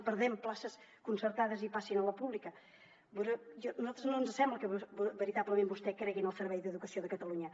que perdem places concertades i que passin a la pública a nosaltres no ens sembla que veritablement vostè cregui en el servei d’educació de catalunya